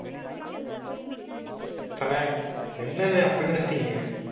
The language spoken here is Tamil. அண்ணே எண்ணனே அப்படி நினைச்சிட்டீங்க?